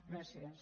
gràcies